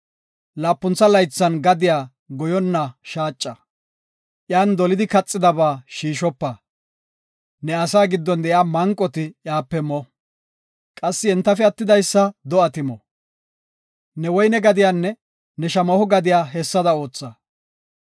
Laapuntha laythan gadiya goyonna shaacha; iyan dolidi kaxiyaba shiishopa. Ne asaa giddon de7iya manqoti iyape mo; qassi entafe attidaysa do7ati mo. Ne woyne gadiyanne ne shamaho gadiya hessada ootha.